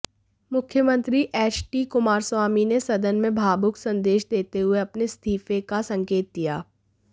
मुख्यमंत्री एचडी कुमारस्वामी ने सदन में भावुक संदेश देते हुए अपने इस्तीफे का संकेत दिया